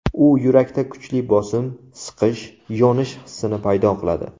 U yurakda kuchli bosim, siqish, yonish hissini paydo qiladi.